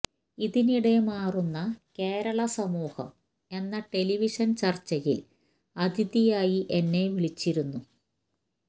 ഇതിനിടെ മാറുന്ന കേരളം സമൂഹം എന്ന ടെലിവിഷന് ചര്ച്ചയില് അതിഥിയായി എന്നെ വിളിച്ചിരുന്നു